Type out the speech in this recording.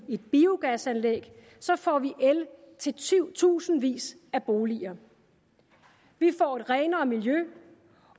biogasanlæg får vi el til tusindvis af boliger vi får et renere miljø